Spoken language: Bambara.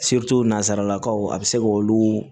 nanzarakaw a bɛ se k'olu